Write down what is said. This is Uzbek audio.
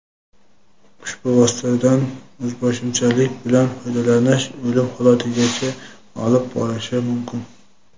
ushbu vositadan o‘zboshimchalik bilan foydalanish o‘lim holatigacha olib borishi mumkin.